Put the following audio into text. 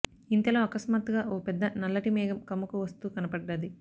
ఇంతలో అకస్మాత్తుగా ఓ పెద్ద నల్లటి మేఘం కమ్ముకు వస్తూ కనపడ్డది